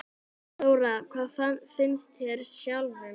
Þóra: Hvað finnst þér sjálfum?